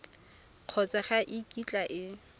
kgotsa ga e kitla e